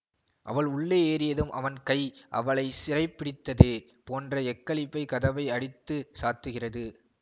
அவள் உள்ளே ஏறியதும் அவன் கை அவளைச் சிறைப்பிடித்ததே போன்ற எக்களிப்பில் கதவை அடித்து சாத்துகிறது